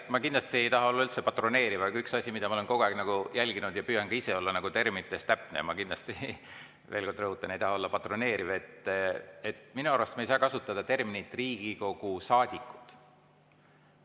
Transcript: Ma kindlasti ei taha olla üldse patroneeriv, aga üks asi, mida ma olen kogu aeg jälginud, püüdes ka ise olla terminites täpne – ma kindlasti veel kord rõhutan, et ma ei taha olla patroneeriv –, minu arust me ei saa kasutada terminit "Riigikogu saadikud".